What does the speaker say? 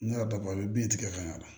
Ne yɛrɛ dabali bi tigɛ ka ɲa a la